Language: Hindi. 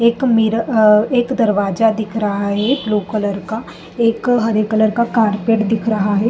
एक मिरर अ एक दरवाजा दिख रहा है ब्लू कलर का। एक हर एक हरे कलर का कारपेट दिख रहा है।